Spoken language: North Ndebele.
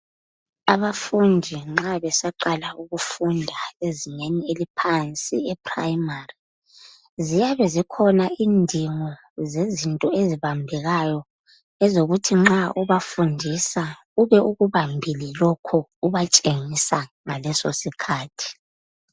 Abafundi nxa besaqala ukufunda ezingeni eliphansi eprimari, ziyabe zikhona indigo zezinto ezibambekakayo ezokuthi nxa ubafundisa ube ukubambile lokhu ubatshengisa ngaleso sikhathi.